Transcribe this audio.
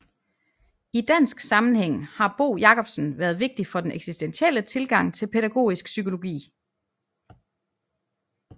I dansk sammenhæng har Bo Jacobsen været vigtig for den eksistentielle tilgang til pædagogisk psykologi